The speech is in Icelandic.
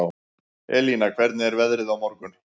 Elina, hvernig er veðrið á morgun?